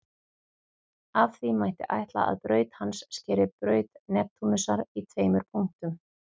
Af því mætti ætla að braut hans skeri braut Neptúnusar í tveimur punktum.